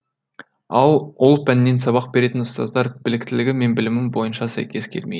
ал ол пәннен сабақ беретін ұстаздар біліктілігі мен білімі бойынша сәйкес келмейді